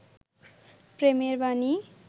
প্রেমের বানী